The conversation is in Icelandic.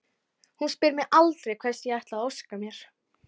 Hún spyr mig aldrei hvers ég ætli að óska mér.